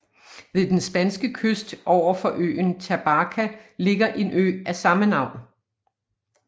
Ved den spanske kyst overfor øen Tabarka ligger en ø af samme navn